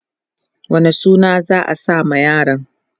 wane suna za'a sa ma yaron?